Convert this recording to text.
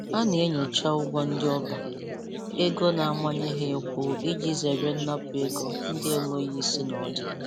Ha na-enyocha ụgwọ ndị ọba ego na-amanye ha ịkwụ iji zere nnapụ ego ndị enweghi isi na ọdụ.